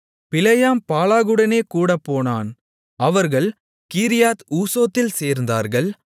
பிலேயாம் பாலாகுடனே கூடப்போனான் அவர்கள் கீரியாத் ஊசோத்தில் சேர்ந்தார்கள்